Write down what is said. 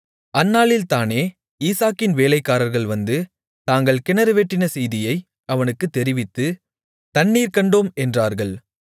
அந்நாளில்தானே ஈசாக்கின் வேலைக்காரர்கள் வந்து தாங்கள் கிணறு வெட்டின செய்தியை அவனுக்குத் தெரிவித்து தண்ணீர் கண்டோம் என்றார்கள்